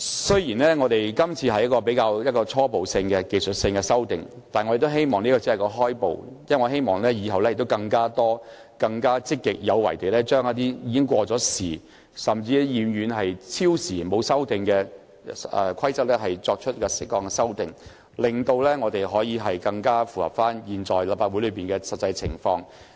雖然今次的修訂是比較初步及技術性，但我希望這是一個起步，以後我們可更積極有為地對一些已過時、久久沒有修訂的規則，作出適當的修訂，令《議事規則》更能應對現時立法會內的實際情況。